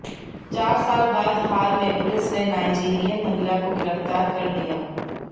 चार साल बाद हाल में पुलिस ने नाइजीरियन महिला काे गिरफ्तार कर लिया